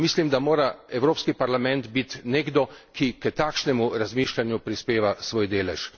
Mislim da mora Evropski parlament biti nekdo, ki k takšnemu razmišljanju prispeva svoj delež.